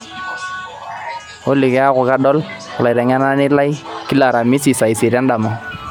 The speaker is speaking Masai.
olly keeku kadol olaitengenenani lai kila aramisi saa isiet endama